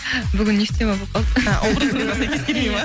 бүгін не в тему болып қалды а образыңызға сәйкес келмей ма